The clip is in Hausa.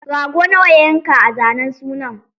Rago nawa ya yanka a zanen sunan?